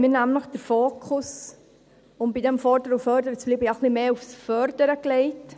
Die EVP hat den Fokus, um bei diesem Fordern und Fördern zu bleiben, nämlich etwas mehr aufs Fördern gelegt.